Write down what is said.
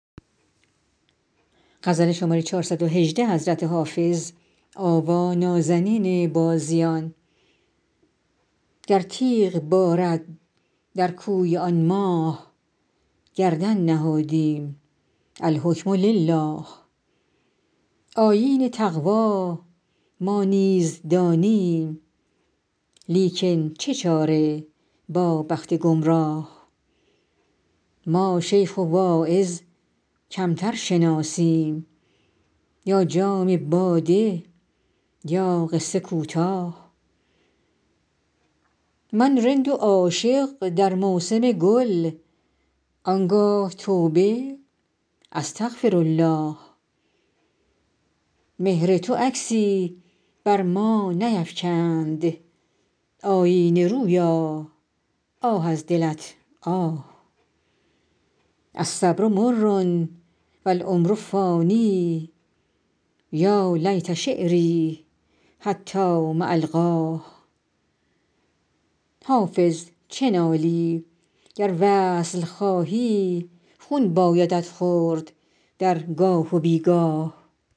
گر تیغ بارد در کوی آن ماه گردن نهادیم الحکم لله آیین تقوا ما نیز دانیم لیکن چه چاره با بخت گمراه ما شیخ و واعظ کمتر شناسیم یا جام باده یا قصه کوتاه من رند و عاشق در موسم گل آن گاه توبه استغفرالله مهر تو عکسی بر ما نیفکند آیینه رویا آه از دلت آه الصبر مر و العمر فان یا لیت شعري حتام ألقاه حافظ چه نالی گر وصل خواهی خون بایدت خورد در گاه و بی گاه